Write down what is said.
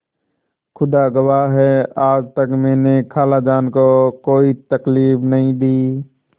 खुदा गवाह है आज तक मैंने खालाजान को कोई तकलीफ नहीं दी